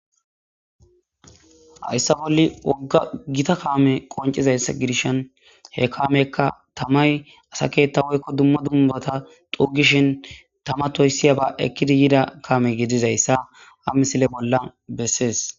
hayissa bolli wodda gitta kamwyi qonccidayissa gidishini he kameyi tamayi duma duma assa ketha xuggishini tama toyisiyabba gididdayissa ha kamezi bessesi